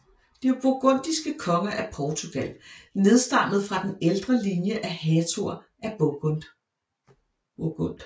De burgundiske konger af Portugal nedstammede fra den ældre linje af hertuger af Burgund